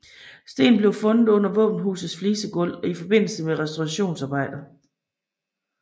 Stenen blev fundet under våbenhusets flisegulv i forbindelse med restaureringsarbejder